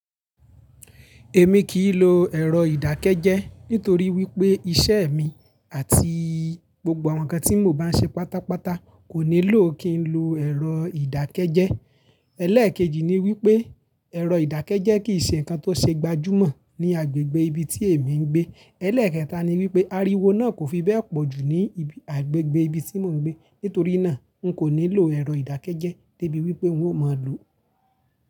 Èmi kì í lo ẹ̀rọ ìdákẹ́jẹ́ nítorí wípé iṣẹ́ mi àti gbógbó àwọn ǹkan tí mo bá ń ṣe pátápátá kò nílò kí ń lo ẹ̀rọ ìdákẹ́jẹ́. Ẹlẹ́ẹ̀kejì ni wípé ẹ̀rọ ìdákẹ́jẹ́ kì í ṣe ǹkan tó ṣe gbajúmọ̀ ní agbègbè ibi tí èmi ń gbé. Ẹlẹ́ẹ̀kẹta ni wípé ariwo náà kò fi bẹ́ẹ̀ pọ̀ jù ní agbègbè ibi tí mò ń gbé. Nítorí náà, n kò ní lọ ẹ̀rọ ìdákẹ́jẹ́ dé bi wípé wọn ó mọ̀ lọ.